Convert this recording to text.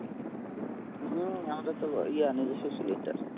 হম আমাদের তো এই আনে gas cylinder